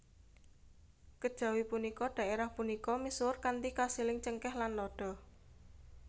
Kejawi punika daérah punika misuwur kanthi kasiling cengkeh lan lada